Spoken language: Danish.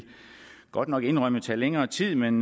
godt nok indrømmet tage længere tid men